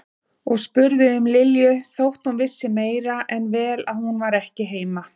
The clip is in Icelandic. Og spurði um Lilju þótt hún vissi meira en vel að hún var ekki heima.